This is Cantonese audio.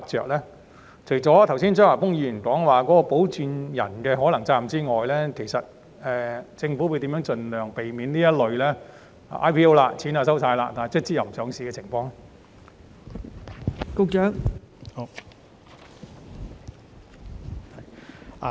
除了考慮剛才張華峰議員所述保薦人可能需要承擔的責任外，政府將如何避免這類已收取 IPO 認購款項但最終撤回上市的情況？